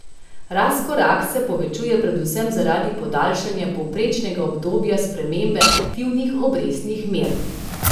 Razkorak se povečuje predvsem zaradi podaljšanja povprečnega obdobja spremembe aktivnih obrestnih mer.